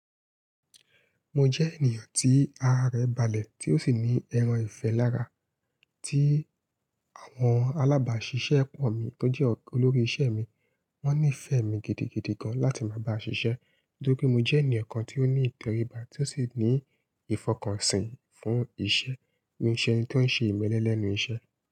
Mo jẹ́ ènìyàn tí ara rẹ̀ balẹ̀ tí ó sì ní ẹran ìfẹ́ lára, tí àwọn alábàáṣiṣẹ́ pọ̀ mi tó jẹ́ olórí iṣẹ́ mi. Wọ́n nífẹ̀ẹ́ mi gidigidi gan láti máa bá a ṣiṣẹ́, nítorí mo jẹ́ ènìyàn kan tí ó ní ìtẹribá tí ó sì ní ìfọkànsìn fún iṣẹ́, mií ṣẹ́ ẹni tó ń ṣe ìmẹ́lẹ́ lẹ́nu iṣẹ́.